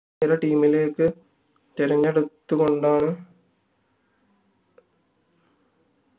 ഒരു team ലേക്ക് തിരഞ്ഞെടുത്തു കൊണ്ടാണ്